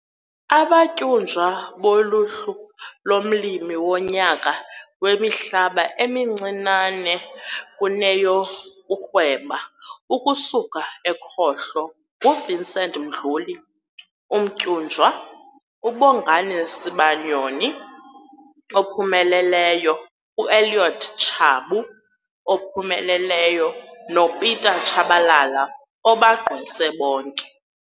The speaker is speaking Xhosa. Abatyunjwa kuluhlu lomLimi woNyaka wemiHlaba emiNcinane kuneyokurhweba ukusuka ekhohlo nguVincent Mdluli, umtyunjwa, uBongani Sibanyoni, ophumeleleyo, uElliot Tshabu, ophumeleleyo, noPieter Chabalala, obagqwese bonke.